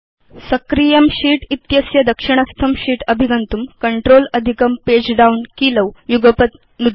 सक्रियं शीत् इत्यस्य दक्षिणस्थं शीत् अभिगन्तुं कंट्रोल अधिकं पगे डाउन कीलौ युगपत् नुदतु